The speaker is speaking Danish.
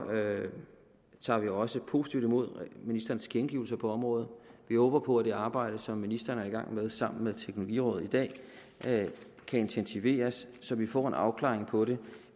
tager vi også positivt imod ministerens tilkendegivelser på området vi håber på at det arbejde som ministeren er i gang med sammen med teknologirådet i dag kan intensiveres så vi får en afklaring på det